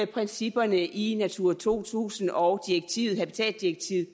principperne i natura to tusind og habitatdirektivet